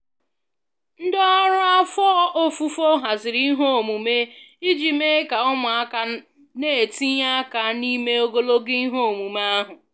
Ndị ọrụ afọ ofufo haziri ihe omume iji mee ka ụmụaka na-etinye aka n'ime ogologo ihe omume ahụ